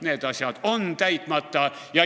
Need asjad on täitmata.